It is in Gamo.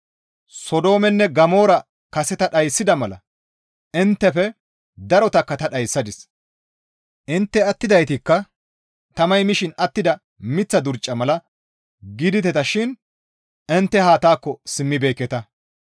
Sodoomenne Gamoora kase ta dhayssida mala inttefe darotakka ta dhayssadis; intte attidaytikka tamay mishin attida miththa durca mala gidideta shin intte haa taakko simmibeekketa.